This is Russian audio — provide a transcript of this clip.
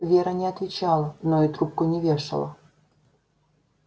вера не отвечала но и трубку не вешала